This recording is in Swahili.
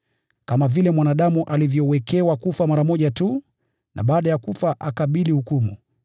Kama vile mwanadamu alivyowekewa kufa mara moja tu na baada ya kufa akabili hukumu,